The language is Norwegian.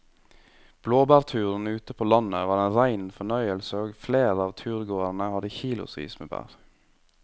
Blåbærturen ute på landet var en rein fornøyelse og flere av turgåerene hadde kilosvis med bær.